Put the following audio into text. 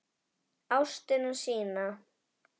Ástina sína.